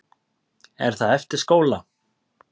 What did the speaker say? Er það eftir skóla?